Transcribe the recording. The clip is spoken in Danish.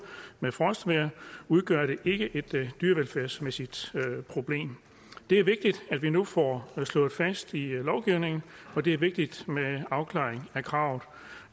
med frostvejr udgør det ikke et dyrevelfærdsmæssigt problem det er vigtigt at vi nu får det slået fast i lovgivningen og det er vigtigt med afklaringen af kravet